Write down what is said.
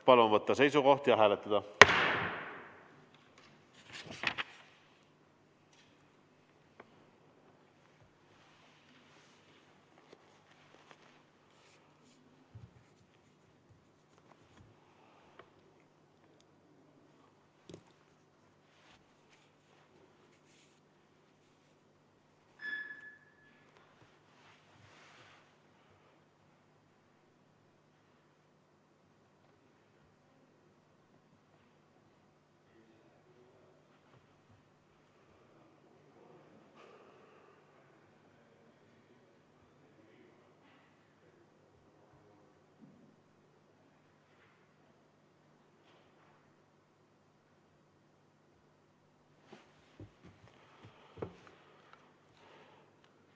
Palun võtta seisukoht ja hääletada!